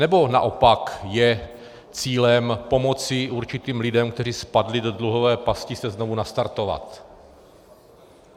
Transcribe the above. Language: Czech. Nebo naopak je cílem pomoci určitým lidem, kteří spadli do dluhové pasti, se znovu nastartovat?